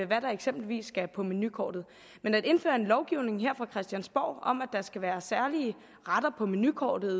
hvad der eksempelvis skal på menukortet men at indføre en lovgivning her fra christiansborg om at der skal være særlige retter på menukortet